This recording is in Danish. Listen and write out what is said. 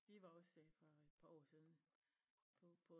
Vi var også for et par år siden på på